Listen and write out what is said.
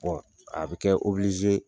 a bɛ kɛ